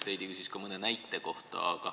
Heidy küsis ka mõne näite kohta.